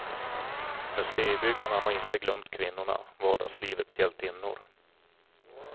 Museibyggarna har inte glömt kvinnorna, vardagslivets hjältinnor.